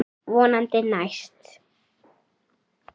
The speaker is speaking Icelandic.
Vonandi næst.